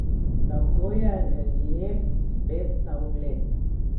Tako je relief spet na ogled.